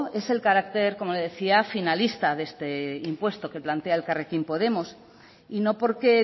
es el carácter como le decía finalista de este impuesto que plantea elkarrekin podemos y no porque